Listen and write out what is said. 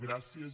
gràcies